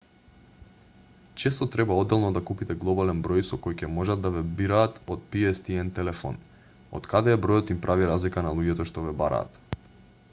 често треба одделно да купите глобален број со кој ќе можат да ве бираат од pstn телефон од каде е бројот им прави разлика на луѓето што ве бараат